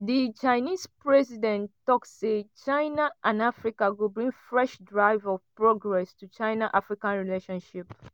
di chinese president tok say china and africa go bring fresh drive of progress to china-africa relationship. ''